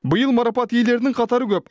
биыл марапат иелеренің қатары көп